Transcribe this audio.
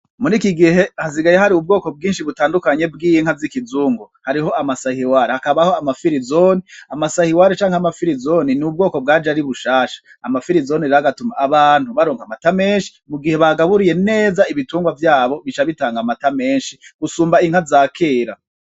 Muriki gihe hasigaye hari ubwoko bwinshi butandukanye bw'inka z'ikizungu. Hariho ama sahiwari, hakabaho ama firizone, Ama sahiwari canke ama firizone ni ubwoko bwaje ari bushasha. Ama firizone rero agatuma abantu baronka amata menshi mugihe bagaburiye neza ibitungwa vyabo. Bica bitanga amata menshi gusumba inka za kera.